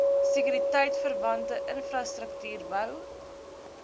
sekuriteitverwante infrastruktuur bou